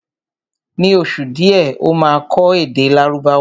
Ní oṣù díẹ̀ Ó máa kọ́ èdè Lárúbáwá